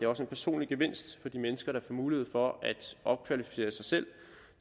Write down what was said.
også en personlig gevinst for de mennesker der får mulighed for at opkvalificere sig selv